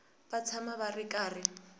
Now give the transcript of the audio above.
va tshama va ri karhi